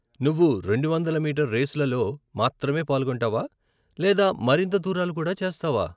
నువ్వు రెండు వందల మీటర్ రేసులలో మాత్రమే పాల్గొంటావా లేదా మరింత దూరాలు కూడా చేస్తావా?